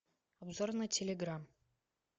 обзор на телеграм